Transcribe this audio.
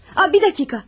A bir dəqiqə.